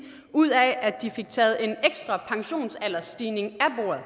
ud af at de fik taget en ekstra pensionsaldersstigning